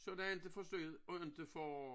Så den inte for sød og inte for